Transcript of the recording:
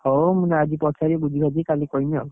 ହଉ ମୁଁ ଆଜି ପଚାରିକି ବୁଝି ବାଝିକି କାଲି କହିମି ଆଉ